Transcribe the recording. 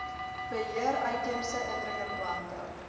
beheer uitheemse indringerplante